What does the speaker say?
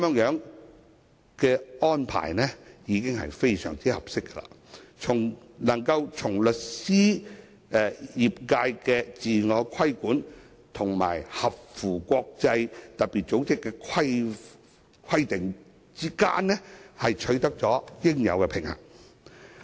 這個安排已經非常合適，在律師業界的自我規管與特別組織的規定之間，取得應有的平衡。